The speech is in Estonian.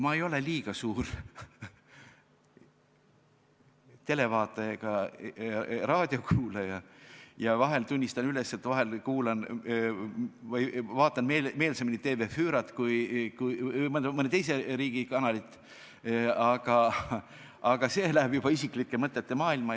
Ma ei ole liiga suur televaataja ega raadiokuulaja ja vahel, tunnistan üles, kuulan või vaatan meelsamini mõne teise riigi kanalit, aga see läheb juba isiklike mõtete maailma.